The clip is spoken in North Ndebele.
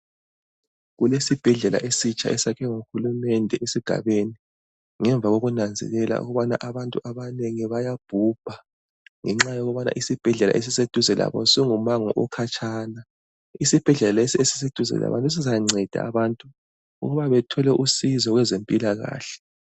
Kulesibhedlela esitsha esakhiwe nguhulumende esigabeni ngemva kokunanzelela ukubana abantu abanengi bayabhubha ngenxa yokubana isibhedlela esiseduze labo singumango okhatshana. Isibhedlela lesi esiseduze labo sizanceda abantu ukuba bethole usizo kwezempilakahle.